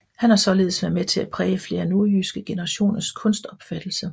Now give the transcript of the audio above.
Han har således været med til at præge flere nordjyske generationers kunstopfattelse